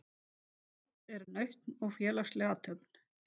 Át er nautn og félagsleg athöfn.